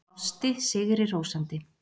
Brosti sigri hrósandi.